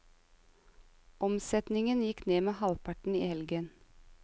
Omsetningen gikk ned med halvparten i helgen.